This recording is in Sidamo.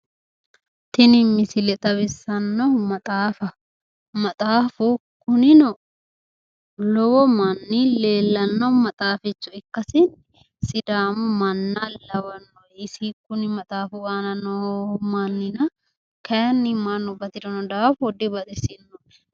Tini misile xawissannohu maxaafaho. maxaafu Kunino lowo manni leellanno manni ikkasi sidamu manna lawanno isi kuni maxaafu aan noo mannina kayinni mannu batirino daafo dibaxisinoe.